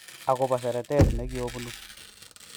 Agopo seretet ne kiopunu